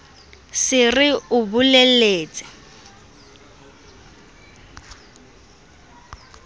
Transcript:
re se re o bolelletse